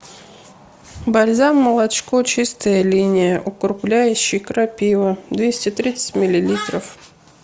бальзам молочко чистая линия укрепляющий крапива двести тридцать миллилитров